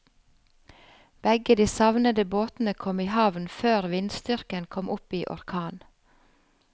Begge de savnede båtene kom i havn før vindstyrken kom opp i orkan.